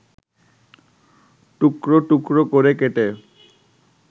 টুকরো টুকরো করে কেটে